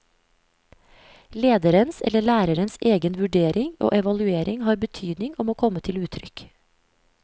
Lederens eller lærerens egen vurdering og evaluering har betydning og må komme til uttrykk.